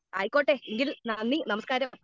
speaker 2 ആയിക്കോട്ടെ എങ്കിൽ നന്ദി നമസ്കാരം